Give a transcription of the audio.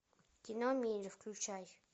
кино включай